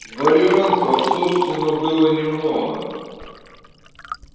вариантов собственно было немного